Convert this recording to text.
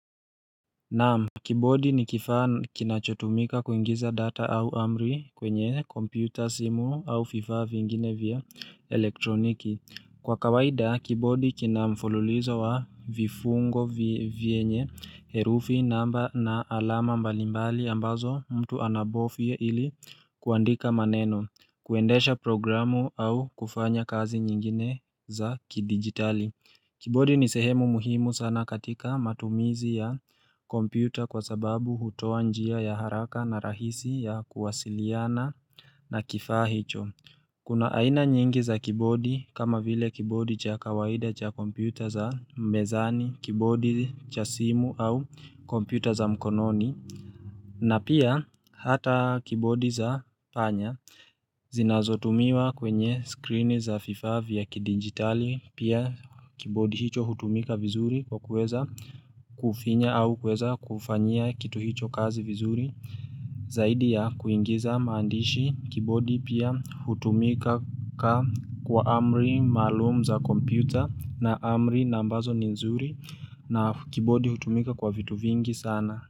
Naam, kibodi nikifaa kinachotumika kuingiza data au amri kwenye computer simu au fifaa vingine vya elektroniki. Kwa kawaida, kibodi kinamfululizo wa vifungo vye vyenye herufi namba na alama mbalimbali ambazo mtu anabofye ili kuandika maneno, kuendesha programu au kufanya kazi nyingine za kidigitali. Kibodi ni sehemu muhimu sana katika matumizi ya kompyuta kwa sababu hutoa njia ya haraka na rahisi ya kuwasiliana na kifaa hicho. Kuna aina nyingi za kibodi kama vile kibodi cha kawaida cha kompyuta za mezani, kibodi cha simu au kompyuta za mkononi. Na pia hata kibodi za panya zinazotumiwa kwenye screen za FIFA vya kidinjitali pia kibodi hicho hutumika vizuri kwa kuweza kufinya au kuweza kufanyia kitu hicho kazi vizuri Zaidi ya kuingiza maandishi kibodi pia hutumika kwa amri maalum za computer na amri nambazo ni nzuri na kibodi hutumika kwa vitu vingi sana.